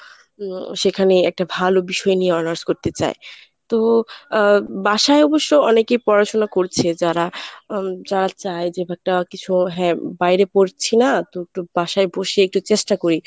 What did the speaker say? উম সেখানে একটা ভালো বিষয় নিয়ে honours করতে চায় তো আ বাসায় অবশ্য অনেকে পড়াশোনা করছে যারা উম যারা যা চায় যে ব্যাটটা কিছু হ্যাঁ বাইরে পড়ছি না তো একটু বাসায় বসে একটু চেষ্টা করি।